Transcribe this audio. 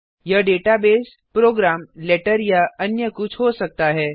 यह database program letter या अन्य कुछ हो सकता है